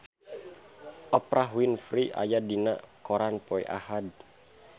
Oprah Winfrey aya dina koran poe Ahad